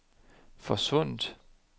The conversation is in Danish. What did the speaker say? forsvundet